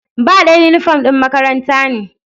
Ba ɗaya, inifom ɗin makaranta ne